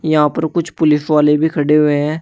यहां पर कुछ पुलिस वाले भी खड़े हुए हैं।